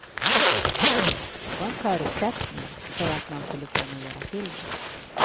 Det var en förutsättning för att man skulle kunna göra filmen.